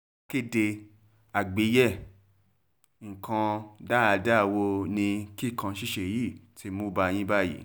akéde àgbàyéàwọn nǹkan dáadáa wo ni kíkàn ṣíṣe yìí ti ti mú bá yín báyìí